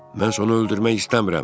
Mən onu öldürmək istəmirəm.